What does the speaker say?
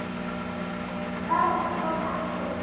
Þarna kom að því.